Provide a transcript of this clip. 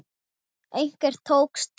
Hvernig tókst til?